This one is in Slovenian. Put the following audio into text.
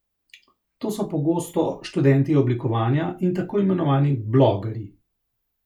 To so pogosto študenti oblikovanja in tako imenovani blogerji.